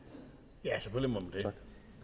tak